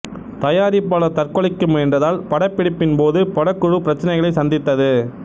தயாரிப்பாளர் தற்கொலைக்கு முயன்றதால் படப்பிடிப்பின் போது படக்குழு பிரச்சினைகளை சந்தித்தது